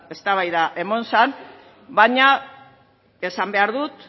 eztabaida emon zan baina esan behar dut